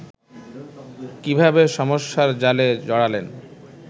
কীভাবে সমস্যার জালে জড়ালেন